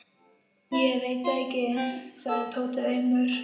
Ég veit það ekki sagði Tóti aumur.